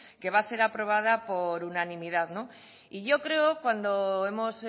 que va a ser aprobada por unanimidad y yo creo cuando hemos